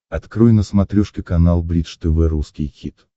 открой на смотрешке канал бридж тв русский хит